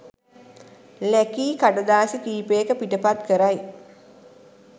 ලැකි කඩදාසි කීපයක පිටපත් කරයි.